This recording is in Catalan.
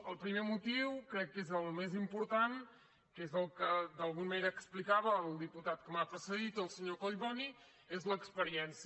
el primer motiu crec que és el més important que és el que d’alguna manera explicava el diputat que m’ha precedit el senyor collboni és l’experiència